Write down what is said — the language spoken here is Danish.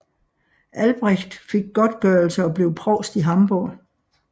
Albrecht fik godtgørelse og blev provst i Hamborg